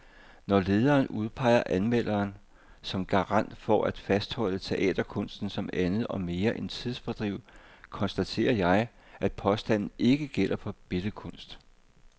Når lederen udpeger anmelderen som garant for at fastholde teaterkunsten som andet og mere end tidsfordriv, konstaterer jeg, at påstanden ikke gælder for billedkunst.